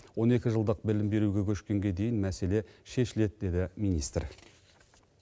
он екі жылдық білім беруге көшкенге дейін мәселе шешіледі деді министр